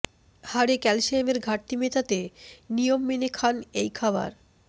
হাড়ে ক্যালসিয়ামের ঘাটতি মেটাতে নিয়ম মেনে খান এই খাবার